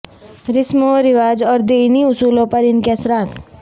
رسم و رواج اور دینی اصولوں پر ان کے اثرات